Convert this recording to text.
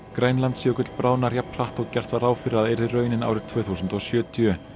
Grænlandsjökull bráðnar jafn hratt og gert var ráð fyrir að yrði raunin árið tvö þúsund og sjötíu